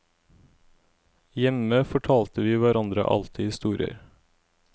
Hjemme fortalte vi hverandre alltid historier.